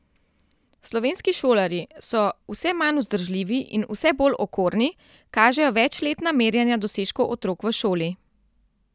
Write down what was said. Slovenski šolarji so vse manj vzdržljivi in vse bolj okorni, kažejo večletna merjenja dosežkov otrok v šoli.